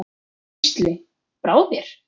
Gísli: Brá þér?